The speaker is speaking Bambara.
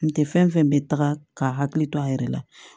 N tɛ fɛn fɛn bɛ taga ka hakili to a yɛrɛ la